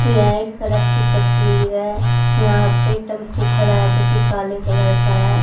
यह एक सड़क की तस्वीर है यहां पे टेंपू खड़ा है जो कि काले कलर का है।